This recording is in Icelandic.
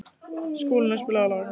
Skúlína, spilaðu lag.